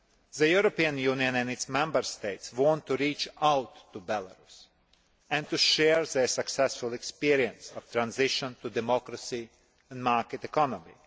The European Union and its Member States want to reach out to Belarus and to share their successful experience of transition to democracy and market economy.